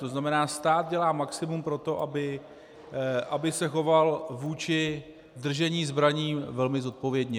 To znamená, stát dělá maximum pro to, aby se choval vůči držení zbraní velmi zodpovědně.